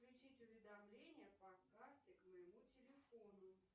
включить уведомления по карте к моему телефону